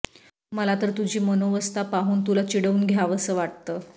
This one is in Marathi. मला तर तुझी मनोवस्था पाहून तुला चिडवून द्यावंसं वाटतं